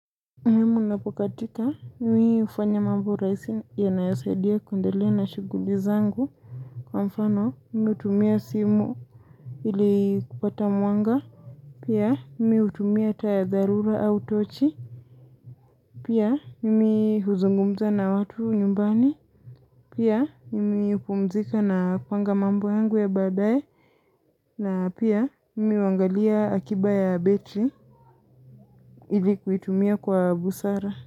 Mimi napokatika, mimi ufanya mambo raisi inayosaidia kuendelea na shuguli zangu. Kwa mfano, ni hutumia simu ili kupata mwanga. Pia, mimi utumia taa ya dharura au tochi. Pia, mimi huzungumza na watu nyumbani. Pia, mimi upumzika na kupanga mambo yangu ya badaye. Na pia, mimi huangalia akiba ya betri ili kuitumia kwa busara.